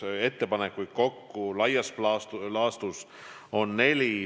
Ettepanekuid on laias laastus neli.